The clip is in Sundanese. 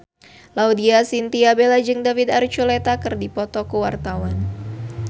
Laudya Chintya Bella jeung David Archuletta keur dipoto ku wartawan